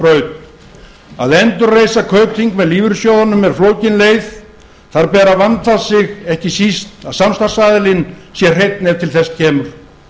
braut að endurreisa kaupþing með lífeyrissjóðunum er flókin leið þar ber að vanda sig ekki síst að samstarfsaðilinn sé hreinn ef til þess kemur